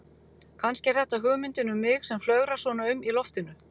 Kannski er þetta hugmyndin um mig sem flögrar svona um í loftinu.